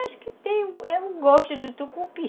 Acho que tem, é o gosto do tucupi.